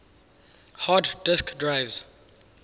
hard disk drives